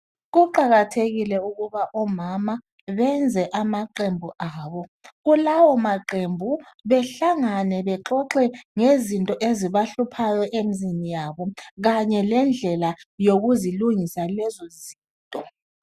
Kuqakathekile ukuba omama bayenze amaqembu abo. Kulawo maqembu behlangane bexoxe ngezinto ezibahluphayo emzini yabo, kanye lendlela zokuzilungisa lezo zinto